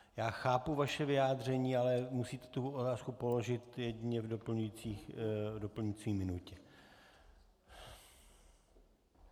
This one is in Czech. Já chápu vaše vyjádření, ale musíte tu otázku položit jedině v doplňující minutě.